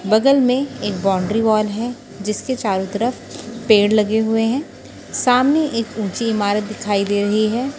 बगल में एक बाउंड्री वॉल है जिसके चारों तरफ पेड़ लगे हुए हैं सामने एक ऊंची इमारत दिखाई दे रही है।